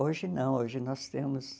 Hoje não, hoje nós temos.